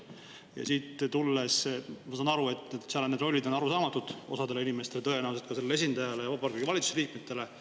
Ja ma saan aru, et need rollid on arusaamatud osale inimestele, tõenäoliselt ka sellele esindajale ja Vabariigi Valitsuse liikmetele.